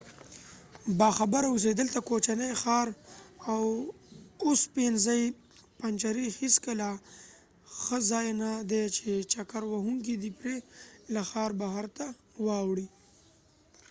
باخبره اوسئ دلته د کوچني ښار اوسپنیزې پنجرې هیڅکله ښه ځای نه دی چې چکر وهونکې دې پرې له ښار بهر ته واوړي